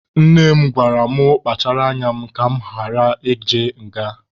Nne m gwara mụ kpachara anya m ka mụ ghara ịje nga.